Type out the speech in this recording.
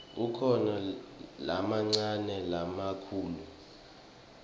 kukhona lamancane nalamakhulu